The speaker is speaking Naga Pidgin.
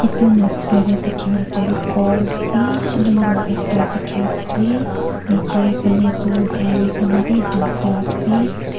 Etu noksa dae dekya tuh ghor beshi dangor ekta dekya ase nechi phane tuh gari khan bhi duida ase.